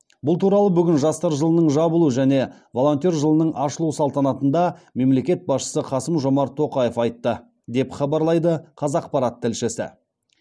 бұл туралы бүгін жастар жылының жабылу және волонтер жылының ашылу салтанатында мемлекет басшысы қасым жомарт тоқаев айтты деп хабарлайды қазақпарат тілшісі